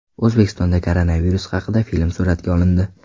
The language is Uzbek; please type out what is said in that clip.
O‘zbekistonda koronavirus haqida film suratga olindi .